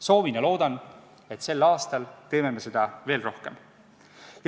Soovin ja loodan, et sel aastal teeme seda veel rohkem.